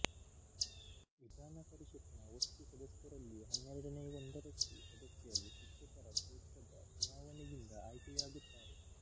ವಿಧಾನ ಪರಿಷತ್ ನ ಒಟ್ಟು ಸದಸ್ಯರಲ್ಲಿ ಹನ್ನೆರಡನೇ ಒಂದರಷ್ಟು ಸದಸ್ಯರು ಶಿಕ್ಷಕರ ಕ್ಷೇತ್ರದ ಚುನಾವಣೆಯಿಂದ ಆಯ್ಕೆಯಾಗುತ್ತಾರೆ